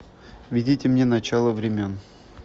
введите мне начало времен